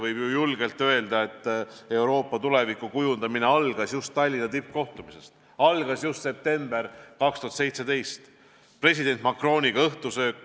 Võib ju julgelt öelda, et Euroopa tuleviku kujundamine algas just Tallinna tippkohtumisel, see algas septembris 2017, kui oli õhtusöök president Macroniga.